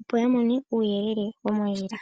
opo yamone uuyelele womondjila.